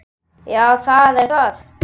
Já, það er það.